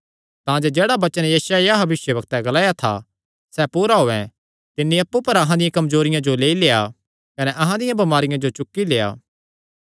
तांजे जेह्ड़ा वचन यशायाह भविष्यवक्तैं ग्लाया था सैह़ पूरा होयैं तिन्नी अप्पु पर अहां दियां कमजोरियां जो लेई लेआ कने अहां दियां बमारियां जो चुक्की लेआ